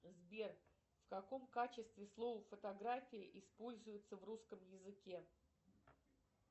сбер в каком качестве слово фотография используется в русском языке